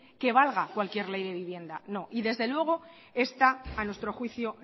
que valga cualquier ley de vivienda no y desde luego esta a nuestro juicio